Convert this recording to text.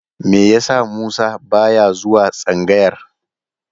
Me yasa Musa ba ya zuwa tsangayar?